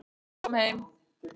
Kom heim